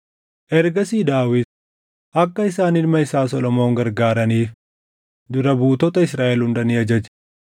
Ergasii Daawit akka isaan ilma isaa Solomoon gargaaraniif dura buutota Israaʼel hunda ni ajaje.